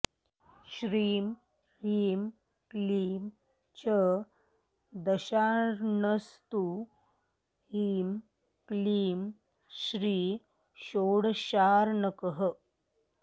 श्रीं ह्रीं क्लीं च दशार्णस्तु ह्रीं क्लीं श्रीं षोडशार्णकः